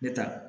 Ne ta